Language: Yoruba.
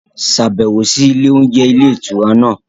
Ṣàbẹ̀wò sí ilé oúnjẹ ilé ìtura náà